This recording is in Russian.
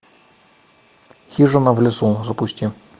хижина в лесу запусти